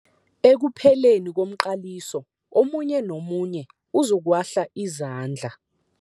Ekupheleni komqaliso omunye nomunye uzokuwahla izandla.